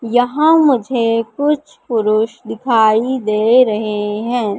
यहां मुझे कुछ पुरुष दिखाई दे रहे है।